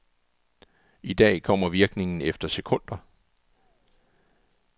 I dag kommer virkningen efter sekunder.